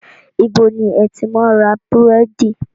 Ibo ni ẹ ti máa ń ra búrẹ́dì?